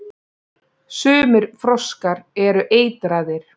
Sumir froskar eru eitraðir.